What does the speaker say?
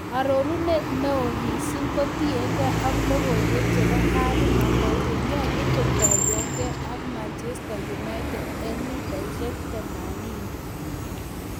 Arorunet neo mising kotienge ak logoywek chebo Harry Maguire: Nyolu kotuiyogee ak Manchster United en �80m